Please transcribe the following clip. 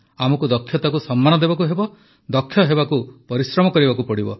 ଆମକୁ ଦକ୍ଷତାକୁ ସମ୍ମାନ ଦେବାକୁ ହେବ ଦକ୍ଷ ହେବାକୁ ପରିଶ୍ରମ କରିବାକୁ ପଡ଼ିବ